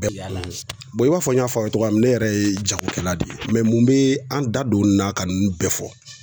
i b'a fɔ n y'a fɔ a ye cogoya min na, ne yɛrɛ ye jagokɛla de ye mun be an da don nin na ka nunnu bɛɛ fɔ.